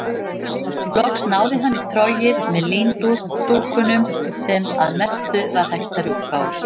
Loks náði hann í trogið með líndúkunum sem að mestu var hætt að rjúka úr.